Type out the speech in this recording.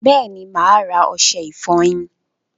Bẹẹni, máa ra ọṣẹ ifọyín